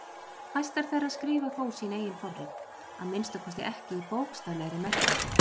Fæstar þeirra skrifa þó sín eigin forrit, að minnsta kosti ekki í bókstaflegri merkingu.